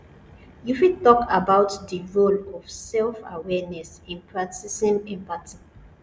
you fit talk about di role of selfawareness in practicing empathy